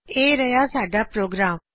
ਇਹ ਰਿਹਾ ਸਾਡਾ ਪ੍ਰੋਗਰਾਮ